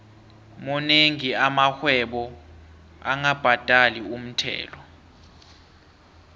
monengi amarhwebo angabhadali umthelo